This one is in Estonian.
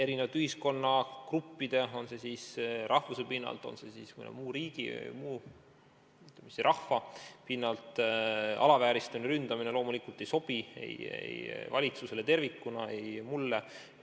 Erinevate ühiskonnagruppide rahvuse pinnalt või mõnelt muult pinnalt alavääristamine ja ründamine loomulikult ei sobi ei valitsusele tervikuna ega ka mulle.